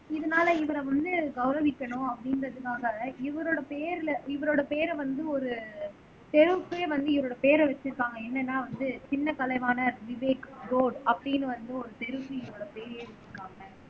இதனால இவரை வந்து கௌரவிக்கணும் அப்படின்றதுக்காக இவரோட பேர்ல இவரோட பேரை வந்து ஒரு தெருவுக்கே வந்து இவரோட பேரை வச்சிருக்காங்க என்னன்னா வந்து சின்ன கலைவாணர் விவேக் ரோடு அப்படின்னு வந்து ஒரு தெருவுக்கு இவரோட பேர்யே வெச்சிருக்காங்க